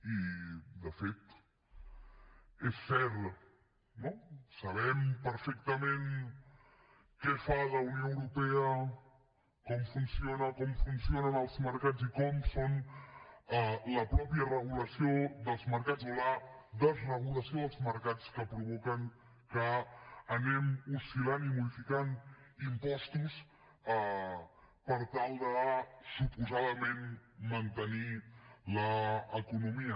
i de fet és cert no sabem perfectament què fa la unió europea com funciona com funcionen els mercats i com és la mateixa regulació dels mercats o la desregulació dels mercats que provoca que anem oscil·lant i modificant impostos per tal de suposadament mantenir l’economia